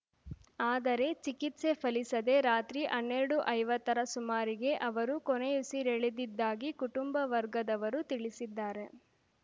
ಆದರೆ ಚಿಕಿತ್ಸೆ ಫಲಿಸದೇ ರಾತ್ರಿ ಹನ್ನೆರಡುಐವತ್ತರ ಸುಮಾರಿಗೆ ಅವರು ಕೊನೆಯುಸಿರೆಳೆದಿದ್ದಾಗಿ ಕುಟುಂಬ ವರ್ಗದವರು ತಿಳಿಸಿದ್ದಾರೆ